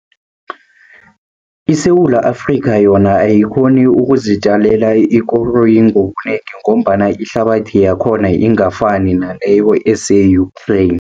ISewula Afrikha, yona ayikghoni ukuzitjalela ikoroyi ngobunegi, ngombana ihlabathi yakhona ingafani naleyo ese-Ukraine.